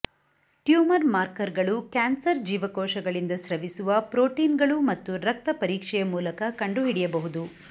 tumour ಮಾರ್ಕರ್ಗಳು cancer ಜೀವಕೋಶಗಳಿಂದ ಸ್ರವಿಸುವ ಪ್ರೋಟೀನ್ಗಳು ಮತ್ತು ರಕ್ತ ಪರೀಕ್ಷೆಯ ಮೂಲಕ ಕಂಡುಹಿಡಿಯಬಹುದು